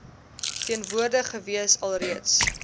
teenwoordig gewees alreeds